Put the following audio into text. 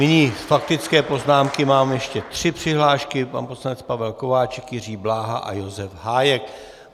Nyní faktické poznámky, mám ještě tři přihlášky: pan poslanec Pavel Kováčik, Jiří Bláha a Josef Hájek.